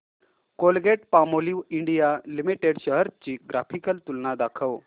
Colgate Palmolive India limited shares ची graphical तुलना दाखव